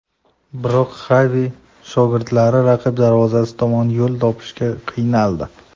Biroq Xavi shogirdlari raqib darvozasi tomon yo‘l topishga qiynaldi.